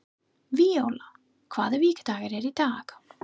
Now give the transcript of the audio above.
Víóla, hvaða vikudagur er í dag?